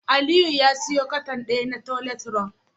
Aliyu ya siyo cartoon daya na toilet roll